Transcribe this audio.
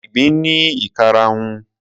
Ìgbín ní ìkarahun.